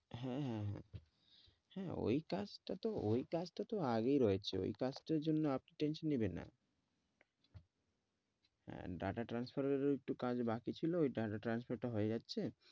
হ্যাঁ হ্যাঁ ওই কাজ তো ওই কাজ তো আগেই রয়েছে ওই কাজটার জন্য আপনি tension নেবেন না আহ data transfer এর ও একটু কাজ বাকি ছিল ওই data transfer টা হয় যাচ্ছে,